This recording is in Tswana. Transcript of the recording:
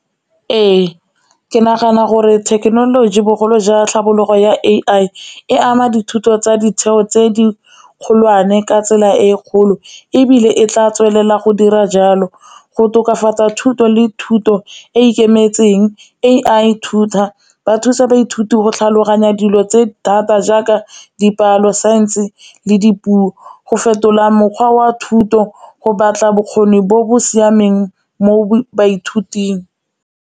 Ee, ke nagana gore thekenoloji bogolo jwa tlhabologo ya A_I e ama dithuto tsa ditheo tse di kgolwane ka tsela e e kgolo, ebile e tla tswelela go dira jalo go tokafatsa thuto le thuto e e ikemetseng A_I tutor ba thusa baithuti go tlhaloganya dilo tse thata jaaka dipalo, saense le dipuo go fetola mokgwa wa thuto, go batla bokgoni bo bo siameng mo baithuting.